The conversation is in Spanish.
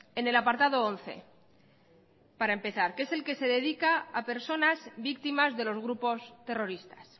en el apartado once para empezar que es el que se dedica a personas víctimas de los grupos terroristas